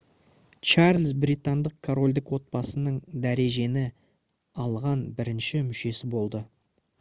чарльз британдық корольдік отбасының дәрежені алған бірінші мүшесі болды